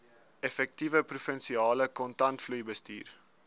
effektiewe provinsiale kontantvloeibestuur